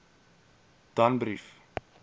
danbrief